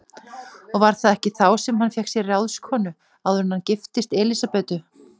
Og var það ekki þá sem hann fékk sér ráðskonu, áður en hann giftist Elísabetu?